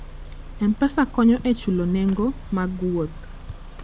M-Pesa konyo e chulo nengo mar wuoth.